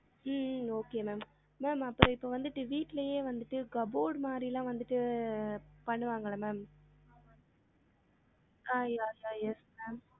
உம் உம் okay ma'am ma'am அப்பறம் இப்ப வந்துட்டு வீட்லயே வந்துட்டு cupboard மாதிரி லாம் வந்துட்டு பண்ணுவாங்கள்ள ma'am ஆஹ் yeah yeah yes ma'am